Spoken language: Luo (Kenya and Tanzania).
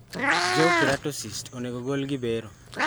Jaw keratocysts onego gol ga gi bero